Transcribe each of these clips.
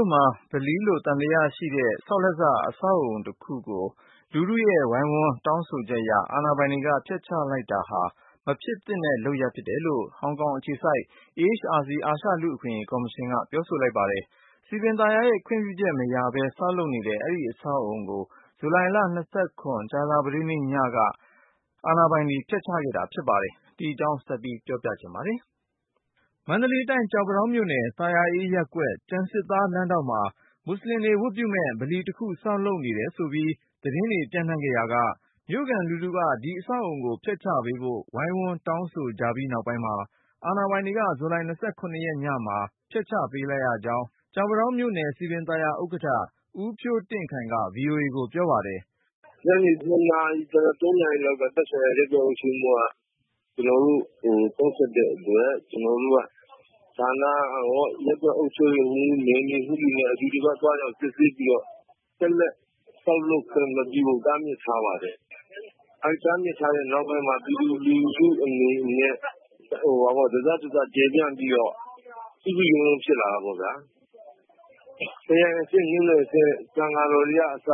ို့မှာ ဗလီလို့ သံသယရှိတဲ့ ဆောက်လက်စ အဆောက်အဦးတခုကို လူထုရဲ့ဝိုင်းဝန်း တောင်းဆိုချက်အရ၊ အာဏာပိုင် တွေက ဖျက်ချလိုက်တာဟာ မဖြစ်သင့်တဲ့ လုပ်ရပ်ဖြစ်တယ်လို့ ဟောင်ကောင်အခြေစိုက် AHRC အာရှလူ့အခွင့်အရေး ကော်မရှင်က ပြောဆို လိုက်ပါတယ်။ စည်ပင်သာယာရဲ့ ခွင့်ပြုချက်မရပဲ ဆောက်လုပ်နေတဲ့ အဲဒီအဆောက်အဦကို ဇူလိုင် ကြာသပတေးနေ့ညက အာဏာပိုင် တွေက ဖျက်ချခဲ့တာဖြစ်ပါတယ်။ အကြောင်းစုံကို ကိုဉာဏ်ဝင်းအောင်က ပြောပြမှာပါ။ မန္တလေးတိုင်း ကျောက်ပန်းတောင်းမြို့သာယာအေးရပ်ကွက်၊ ကျန်စစ်သားလမ်းထောင့်မှာ မွတ်ဆလင်တွေဝတ်ပြုမယ့် ဗလီတခု ဆောက်လုပ် နေတယ်ဆိုပြီး သတင်းတွေ ပျံ့နှံ့ခဲ့ရာက မြို့ခံလူထုက ဒီအဆောက်အဦးကို ဖျက်ချပေးဖို့ ဝိုင်းဝန်းတောင်းဆိုကြပြီး နောက်ပိုင်းမှာ အာဏာပိုင် တွေက ဇူလိုင် ညမှာ ဖျက်ချပေးလိုက်ရကြောင်း ကျောက်ပန်းတောင်း မြို့နယ်စည်ပင်သာယာ ဥက္ကဋ္ဌ ဦးဖြိုးတင့်ခိုင်က VOA ကိုပြော ပါတယ်။ “ညနေ ၂ နာရီ ၃ နာရီလောက်က သက်ဆိုင်ရာ ရပ်ကွက်အုပ်ချုပ်ရေးမှူးက ကျနော်တို့ကို ဖုန်းဆက်တဲ့အတွက် ကျနော်တို့ဌာနရော၊ ရပ်ကွက်အုပ်ချုပ်ရေးမှူး၊ နယ်မြေအာဏာပိုင်တွေနဲ့ အတူတကွ သွားရောက်စစ်ဆေးပြီးတော့ ဆက်လက်ဆောက်လုပ်ခွင့်မပြုဖို့ တားမြစ်ထားပါတယ်။ အဲဒီတားမြစ်ထားတဲ့ နောက်ပိုင်းမှာ ပြည်သူလူထုအနေနဲ့ တစတစကျယ်ပြန့်ပြီးတော့ စုစုရုံးရုံးဖြစ်လာတာပေါ့နော် ၊ ခရိုင်အဆင့်မြို့နယ်အဆင့် သံဃာတော်တွေကအစ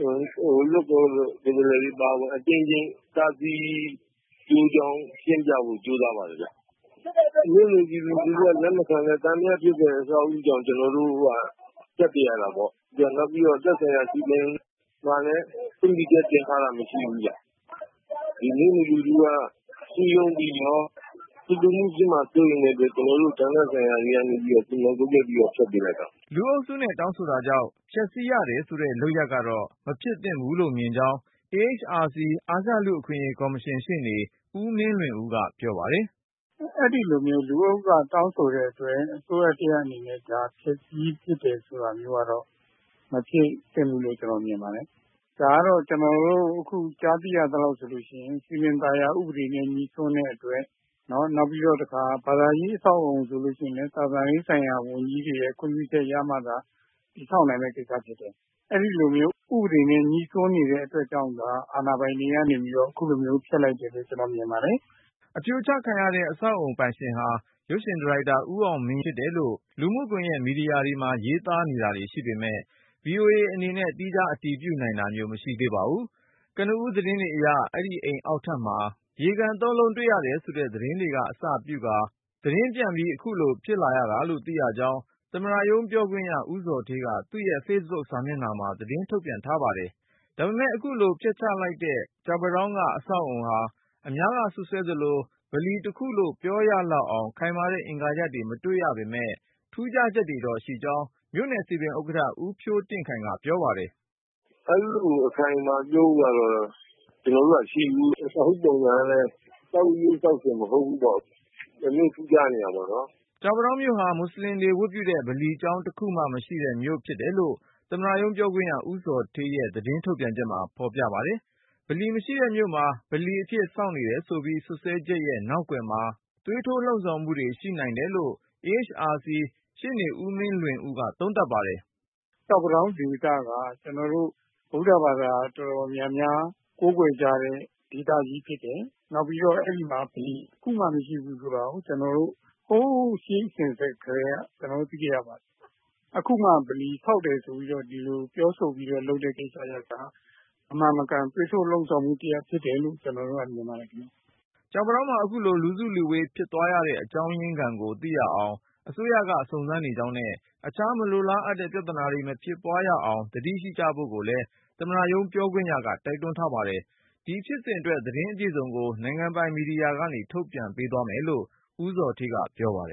လွှတ်တော်ကိုယ်စားလှယ်တွေအကြိမ်ကြိမ်ပါဝင် တားဆီးဖို့ကြိုးကြောင်းရှင်းပြပါတယ်ခင်ဗျ။ မြို့နယ်ပြည်သူလူထုက လက်မခံတာကြောင့် ကျနော်တို့က ဖျက်ပစ်ရတာပေါ့နော် ။ နောက်ပြီးတော့ သက်ဆိုင်ရာ စည်ပင်မှာလည်း တင်ထားတာမရှိဘူးခင်ဗျ ။ မြို့နယ်ပြည်သူလူထုက စည်းရုံးပြီးတော့ ဆူပူမှုပြုမှာစိုးရိမ်တဲ့အတွက် ကျနော်တို့ ဌာနဆိုင်ရာတွေက ဆုံးဖြတ်ပြီးတော့ ဖျက်ပေးလိုက်ရတာပါ။” လူအုပ်စုနဲ့ တောင်းဆိုတာကြောင့် ဖျက်ဆီးရတယ်ဆိုတဲ့ လုပ်ရပ်ကတော့ မဖြစ်သင့်ဘူးလို့မြင်ကြောင်း AHRC အာရှလူ့အခွင့်အရေးကော်မရှင် ရှေ့နေ ဦးမင်းလွင်ဦးက ပြောပါတယ်။ “အဲဒီလိုမျိုးလူအုပ်က တောင်းဆိုတဲ့အတွက် အစိုးရတရပ်အနေနဲ့ ဒါဖျက်ဆီးပစ်တယ် ဆိုတာမျိုးကတော့ မဖြစ်သင့်ဘူးလို့ ကျနော်မြင်ပါတယ်။ ဒါကတော့ ကျနေ်ာတို့ ကြားသိရသလောက်ဆိုရင် စည်ပင်သာယာဥပဒေနဲ့ ငြှိစွန်းတဲ့အတွက် နောက်ပြီးတော့တခါ ဘာသာရေးအဆောက်အအုံဆိုရင်လည်း သာသနာရေးဆိုင်ရာ ဝန်ကြီးတွေရဲ့ ခွင့်ပြုချက်ရမှသာ တည်ဆောက်နိုင်မယ့်ကိစ္စဖြစ်တယ်။ အဲဒီလိုမျိုး ဥပဒေနဲ့ ငြိစွန်းနေတဲ့အတွက်ကြောင့်သာ အာဏာပိုင်တွေကနေပြီးတော့ အခုလိုမျိုးဖျက်လိုက်တယ်လို့ ကျနော်မြင်ပါတယ်။” အဖြိုချခံရတဲ့ အဆောက်အဦးပိုင်ရှင်ဟာ ရုပ်ရှင်ဒါရိုက်တာ ဦးအောင်မင်းရဲ့အိမ်ဖြစ်တယ်လို့ လူမှုကွန်ယက် မီဒီယာမှာ ရေးသား နေတာတွေ ရှိပေမယ့် VOA အနေနဲ့ သီးခြား အတည်ပြုနိုင်တာမျိုး မရှိသေးပါဘူး။ ကနဦး သတင်းတွေအရ အဲဒီအိမ်အောက်ထပ်မှာ အုတ်ရေကန် ၃ လုံး တွေ့ရတယ် ဆိုတဲ့ သတင်းတွေက အစပြုကာ သတင်းပြန့်ပြီး ခုလိုဖြစ်လာရတာလို့ သိရကြောင်း သမ္မတရုံး ပြောခွင့်ရ ဦးဇော်ဌေးက သူ့ Facebook စာမျက်နှာမှာ သတင်းထုတ်ပြန်ထားပါတယ်။ ဒါပေမယ့် အခုလို ဖြိုချလိုက်တဲ့ ကျောက်ပန်းတောင်းက အဆောက်အဥးီဟာ အများက စွပ်စွဲသလို ဗလီတခုလို့ ပြောရလောက်အောင် ခိုင်မာတဲ့ အင်္ဂါရပ်တွေ မတွေ့ရပေမယ့် ထူးခြားချက်တော့ ရှိကြောင်း မြို့နယ်စည်ပင်ဥက္ကဋ္ဌ ဦးဖြိုးတင့်ခိုင်က ပြောပါတယ်။ “အဲလိုအခိုင်အမာကြီးကတော့ ကျနော်တို့လည်းမတွေ့ဘူး။ အဆောက်အဦးပုံစံကလည်း ဆောက်လေ့ဆောက်စဉ်မဟုတ်ဘူးပေါ့ တမျိုးထူးခြားတယ်ဖြစ်နေတာပေါ့နော်။” ကျောက်ပန်းတောင်းမြို့ဟာ မွတ်ဆလင်တွေ ဝတ်ပြုတဲ့ ဗလီကျောင်းတခုမှ မရှိတဲ့မြို့ဖြစ်တယ်လို့ သမ္မတရုံးပြောခွင့်ရ ဦးဇော်ဌေးရဲ့ သတင်း ထုတ်ပြန်ချက်မှာ ဖေါ်ပြပါတယ်။ ဗလီမရှိတဲ့မြို့မှာ ဗလီအဖြစ် ဆောက်နေတယ်ဆိုပြီး စွပ်စွဲချက်ရဲ့နောက်ကွယ်မှာ သွေးထိုးလှုံ့ဆော်မှုတွေ ရှိနိုင်တယ်လို့ AHRC ရှေ့နေ ဦးမင်းလွင်ဦးက သုံးသပ်ပါတယ်။ “ကျောက်ပန်းတောင်းဒေသက ကျနော်တို့ ဗုဒ္ဓဘာသာတော်တော်များများကိုးကွယ်ကြတဲ့ ဒေသကြီးဖြစ်တယ်။ နောက်ပြီးတော့ အဲဒီမှာ ဗလီတခုမှ မရှိဘူးဆိုတာကို ကျနော်တို့ ဟိုးရေးအစဉ်အဆက်ကတည်းက ကျနော်တို့ သိခဲ့ရပါတယ်။ အခုမှ ဗလီဆောက်တယ်ပြောဆိုပြီးတော့ ဒီလိုမမှန်မကန် သွေးထိုးလှုံ့ဆော်မှုတရပ်ဖြစ်တယ်လို့ ကျနော်မြင်ပါတယ်ခင်ဗျ။” ကျောက်ပန်းတောင်းမှာ အခုလို လူစုလူဝေး ဖြစ်သွားရတဲ့ အကြောင်းရင်းခံကို သိနိုင်အောင် အစိုးရက စုံစမ်းနေကြောင်းနဲ့ အခြား မလိုလားအပ်တဲ့ ပြဿနာတွေ မဖြစ်ပွားရအောင် သတိရှိကြဖို့ကိုလဲ သမ္မတရုံး ပြောခွင့်ရက တိုက်တွန်းထားပါတယ်။ ဒီဖြစ်စဉ်အတွက် သတင်းအပြည့်အစုံကို နိုင်ငံပိုင်မီဒီယာကနေ ထုတ်ပြန်ပေးသွားမယ်လို့ ဦးဇော်ဌေးက ပြောပါတယ်